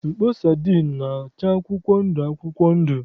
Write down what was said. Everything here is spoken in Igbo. Mkpọ sadin na-acha akwụkwọ ndụ akwụkwọ ndụ.